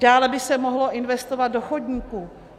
Dále by se mohlo investovat do chodníků.